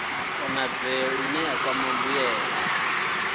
konadzee ine ya kwama mbuelo